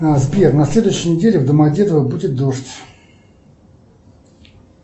сбер на следующей неделе в домодедово будет дождь